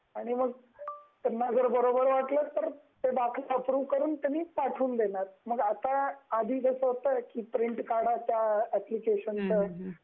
आणि मग त्याना जर बरोबर वाटल तर मग अप्रूव्हेड करून लगेच पाठवून देणार आधी कस होत प्रिंट काढायच त्या एप्लिकेशन च